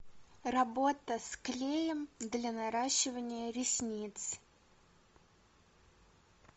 работа с клеем для наращивания ресниц